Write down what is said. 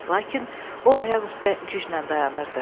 Lakin o ayaq üstə gücnən dayanırdı.